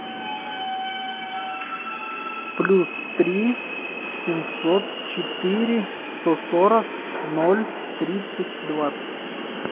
плюс три семьсот четыре сто сорок ноль тридцать двадцать